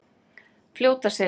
Fljótaseli